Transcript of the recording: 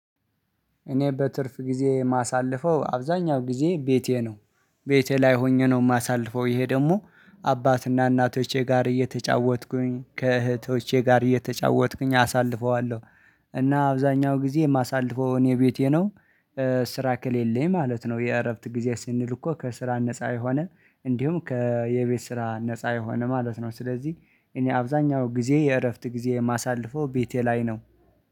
እኔ በትርፍ ጊዜ የማሳልፈው አብዛኛው ጊዜ ቤቴ ነው ቤቴ ላይ ሆኜ ነው የማሳልፈው ይሄ ደግሞ አባትና እናቶቼ ጋር እየተጫወትኩኝ ከእህቶቼ ጋር እየተጫወትኩኝ አሳልፈዋለሁ። እና አብዛኛው ጊዜ የማሳልፈውን እኔ ቤቴ ነው። ስራ ከሌለኝ ማለት ነው የእረፍት ጊዜ ስንል እኮ ከስራ ነፃ የሆነ እንዲሁም ከየቤት ስራ ነፃ የሆነ ማለት ነው። ስለዚህ እኔ አብዛኛው ጊዜ የእረፍት ጊዜ የማሳልፈው ቤቴ ላይ ነው።